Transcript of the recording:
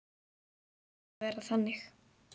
Það hlaut að vera þannig.